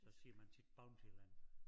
Så siger man tit Bountyland